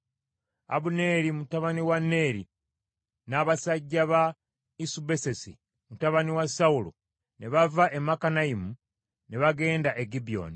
Abuneeri mutabani wa Neeri n’abasajja ba Isubosesi mutabani wa Sawulo, ne bava e Makanayimu ne bagenda e Gibyoni.